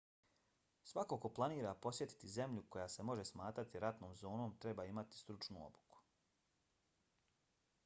svako ko planira posjetiti zemlju koja se može smatrati ratnom zonom treba imati stručnu obuku